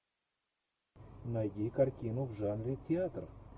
найди картину в жанре театр